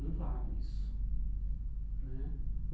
Não vale isso né.